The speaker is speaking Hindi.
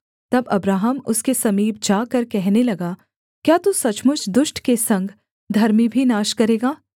तब अब्राहम उसके समीप जाकर कहने लगा क्या तू सचमुच दुष्ट के संग धर्मी भी नाश करेगा